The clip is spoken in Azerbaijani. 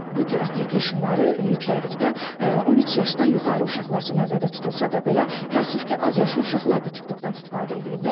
Bu cür applicationları yüklədikdə 13 yaşdan yuxarı uşaqlar üçün nəzərdə tutulsa da belə, təəssüf ki, azyaşlı uşaqlar da TikTokdan istifadə eləyirlər.